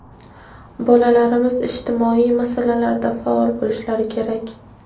Bolalarimiz ijtimoiy masalalarda faol bo‘lishlari kerak.